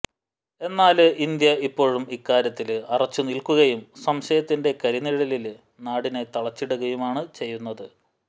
എന്നാല് ഇന്ത്യ ഇപ്പോഴും ഇക്കാര്യത്തില് അറച്ചുനില്ക്കുകയും സംശയത്തിന്റെ കരിനിഴലില് നാടിനെ തളച്ചിടുകയുമാണ് ചെയ്യുന്നത്